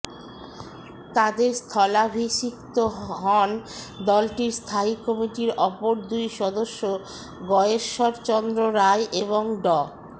তাদের স্থলাভিষিক্ত হন দলটির স্থায়ী কমিটির অপর দুই সদস্য গয়েশ্বর চন্দ্র রায় এবং ড